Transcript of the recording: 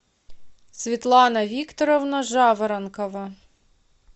светлана викторовна жаворонкова